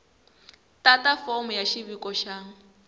tata fomo ya xiviko xa